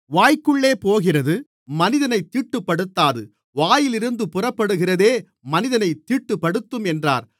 வாய்க்குள்ளே போகிறது மனிதனைத் தீட்டுப்படுத்தாது வாயிலிருந்து புறப்படுகிறதே மனிதனைத் தீட்டுப்படுத்தும் என்றார்